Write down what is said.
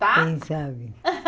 Tá Quem sabe.